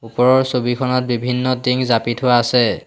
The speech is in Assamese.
ওপৰৰ ছবিখনত বিভিন্ন টিং জাপি থোৱা আছে।